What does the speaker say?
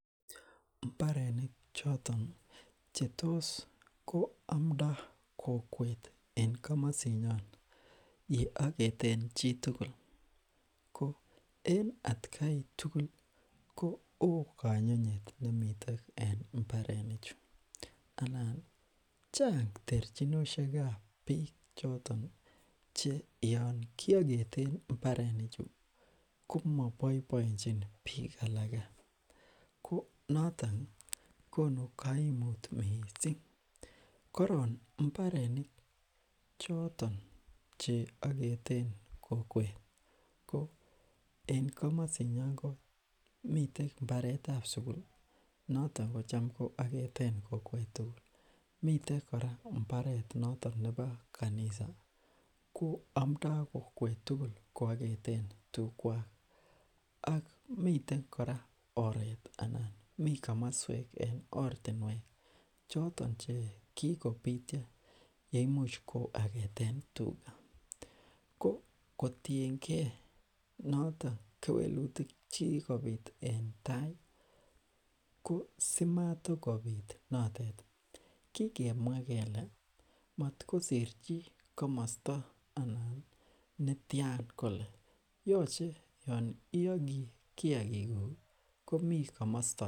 mbarenik choton chetos amndo kokwet en komosinyon yooketen chitukul kon en atakai tugul ko oo konyonyet nemiten en mbarenichu anani chang terchinoshekab biik che yoon kioketeni mbarenichu komoboiboenchi biik alake ko notoni konu koimut mising koron mbarenik choton cheoketen kokwet ko en komosinyon komiten mbaretab sugul noton kocham kooeketen kokwet tugl miten kora mbaret nebo kanisa ko omndo kokwet tugul kooketen tukwak ak miten kora oret ana mikomoswek en ortinwek choton che kikobit cheimuch kooaketen tuga ko kotiengee notok kewelutik chekikobit en taai ko simatakobit notok kikemwa kele motkosir chi komosto anan netian kole yoche yoon iyoki kiagikuk komi komosto